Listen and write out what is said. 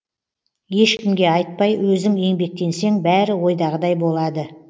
ешкімге айтпай өзің еңбектенсең бәрі ойдағыдай болады